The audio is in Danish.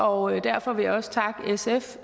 og derfor vil jeg også takke sf